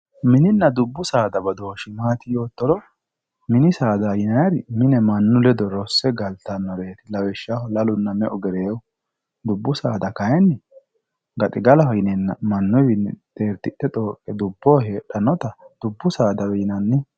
mininna dubbu saada badooshshi maati yoottoro mini saada yinayiiri mine mannu ledo rosse galtannoreeti lawishshaho lalunna me"u gereewu dubbu saada kayiinni gaxigalaho yineenna mannuyiiwiinni xeertishe xooqqe dubboho heedhannota dubbu saadawe yinanni.